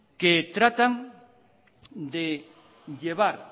que tratan de llevar